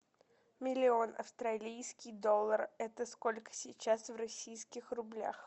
миллион австралийский доллар это сколько сейчас в российских рублях